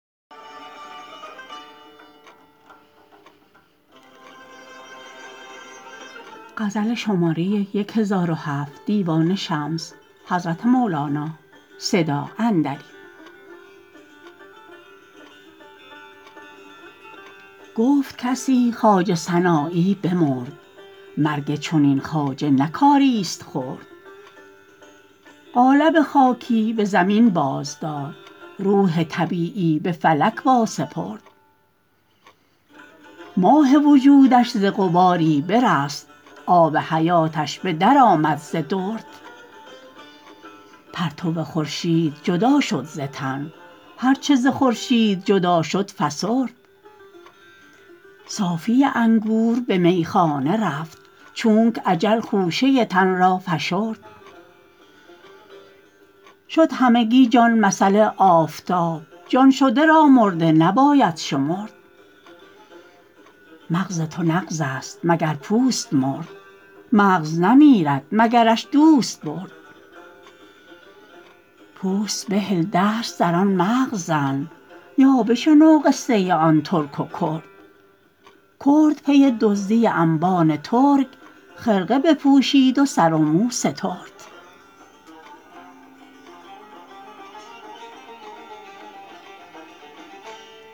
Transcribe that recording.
گفت کسی خواجه سنایی بمرد مرگ چنین خواجه نه کاریست خرد قالب خاکی به زمین بازداد روح طبیعی به فلک واسپرد ماه وجودش ز غباری برست آب حیاتش به درآمد ز درد پرتو خورشید جدا شد ز تن هر چه ز خورشید جدا شد فسرد صافی انگور به میخانه رفت چونک اجل خوشه تن را فشرد شد همگی جان مثل آفتاب جان شده را مرده نباید شمرد مغز تو نغزست مگر پوست مرد مغز نمیرد مگرش دوست برد پوست بهل دست در آن مغز زن یا بشنو قصه آن ترک و کرد کرد پی دزدی انبان ترک خرقه بپوشید و سر و مو سترد